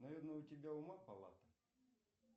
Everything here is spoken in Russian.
наверное у тебя ума палата